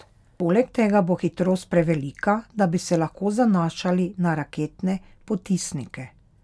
Poleg tega bo hitrost prevelika, da bi se lahko zanašali na raketne potisnike.